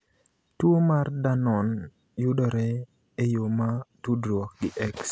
Tuwo mar Dannon yudore e yo ma tudruok gi X.